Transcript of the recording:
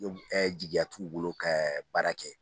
e jigiya t'u bolo ka baara kɛ